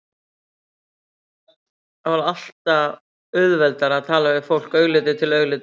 Það var alltaf auðveldara að tala við fólk augliti til auglitis.